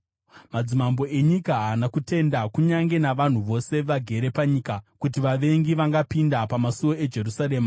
Madzimambo enyika haana kutenda, kunyange navanhu vose vagere panyika, kuti vavengi vangapinda pamasuo eJerusarema.